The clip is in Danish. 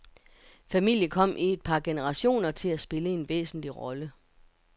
Familien kom i et par generationer til at spille en væsentlig rolle.